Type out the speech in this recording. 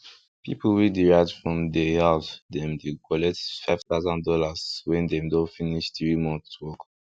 people wey dey write from dey house dem dy collect five tousan dollars wen dem don finish three months work